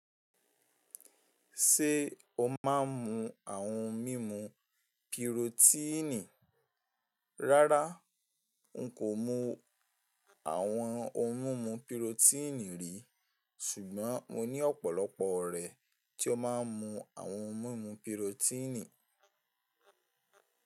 Ṣé o máa ń mu àwọn mímu pirotíìnì? Rárá, n kò mu àwọn ohun mímu pirotíìnì rí, ṣùgbọ́n mo ní ọ̀pọ̀lọpọ̀ ọ̀rẹ́ tí ó máa ń mu àwọn ohun mímu pirotíìnì.